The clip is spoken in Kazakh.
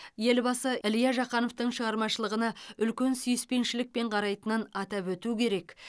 елбасы илья жақановтың шығармашылығына үлкен сүйіспеншілікпен қарайтынын атап өту керек